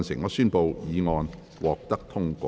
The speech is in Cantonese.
我宣布議案獲得通過。